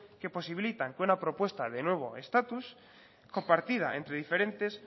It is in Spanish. que posibilitan que una propuesta de nuevo estatus compartida entre diferentes